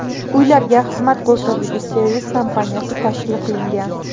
Uylarga xizmat ko‘rsatuvchi servis kompaniyasi tashkil qilingan.